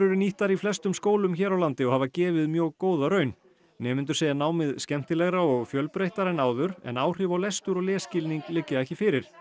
nýttar í flestum skólum hér á landi og hafa gefið mjög góða raun nemendur segja námið skemmtilegra og fjölbreyttara en áður en áhrif á lestur og lesskilning liggja ekki fyrir